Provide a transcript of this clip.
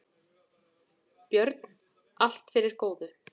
Björn: Allt fyrir góðu.